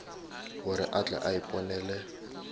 gore a tle a iponele